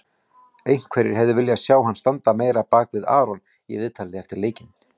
Einhverjir hefðu viljað sjá hann standa meira á bakvið Aron í viðtali eftir leikinn.